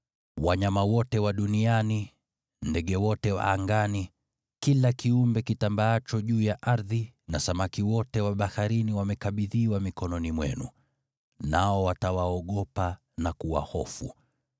Wanyama wote wa duniani, ndege wote wa angani, kila kiumbe kitambaacho juu ya ardhi, na samaki wote wa baharini wamekabidhiwa mikononi mwenu, nao watawaogopa na kuwahofu.